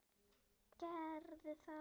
Gerðu það: